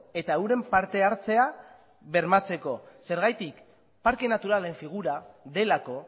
eta euren partehartzea bermatzeko zergatik parke naturalen figura delako